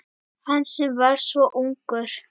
Hann sem var svo ungur.